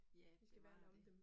Ja, bevare det